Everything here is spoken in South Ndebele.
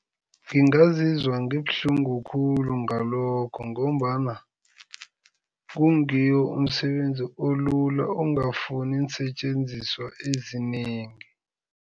Ngingazizwa ngibuhlungu khulu ngalokho ngombana kungiwo umsebenzi olula, ongafuni iinsetjenziswa ezinengi.